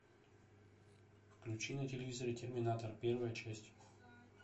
включи на телевизоре терминатор первая часть